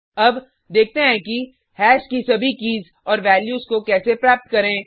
अब देखते हैं कि हैश की सभी कीज़ और वैल्यूज़ को कैसे प्राप्त करें